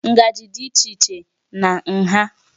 Ngaji dị iche iche na nha